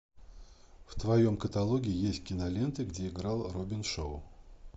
в твоем каталоге есть киноленты где играл робин шоу